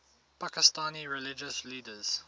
pakistani religious leaders